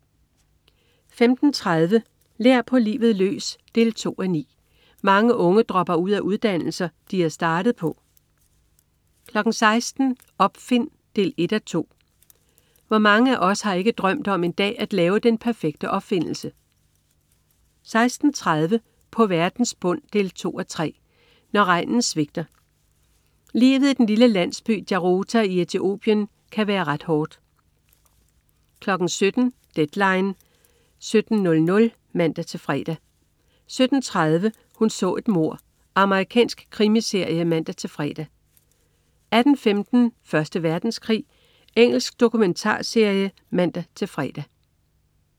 15.30 Lær på livet løs 2:9. Mange unge dropper ud af uddannelser, de er startet på 16.00 Opfind 1:2. Hvor mange af os har ikke drømt om en dag at lave den perfekte opfindelse? 16.30 På verdens bund 2:3. Når regnen svigter. Livet i den lille landsby Jarota i Ethiopien kan være ret hårdt 17.00 Deadline 17.00 (man-fre) 17.30 Hun så et mord. Amerikansk krimiserie (man-fre) 18.15 Første Verdenskrig. Engelsk dokumentarserie (man-fre)